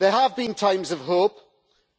There have been times of hope,